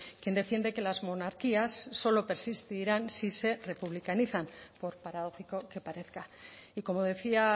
quien defiende que las monarquías solo persistirán si se republicanizan por paradógico que parezca y como decía